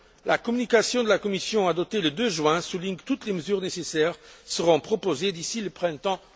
La communication de la Commission adoptée le 2 juin souligne que toutes les mesures nécessaires seront proposées d'ici le printemps